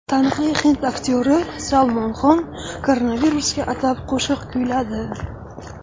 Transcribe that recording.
Taniqli hind aktyori Salmon Xon koronavirusga atab qo‘shiq kuyladi.